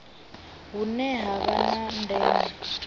hune ha vha na ndeme